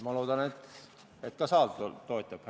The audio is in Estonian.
Ma loodan, et ka saal toetab.